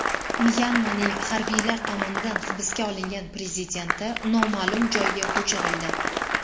Myanmaning harbiylar tomonidan hibsga olingan prezidenti noma’lum joyga ko‘chirildi.